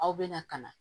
Aw bɛna ka na